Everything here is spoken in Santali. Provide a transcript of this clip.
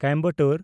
ᱠᱚᱭᱮᱢᱵᱟᱴᱚᱨ